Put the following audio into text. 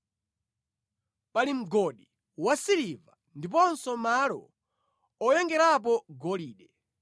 Pali mgodi wa siliva ndiponso malo oyengerapo golide.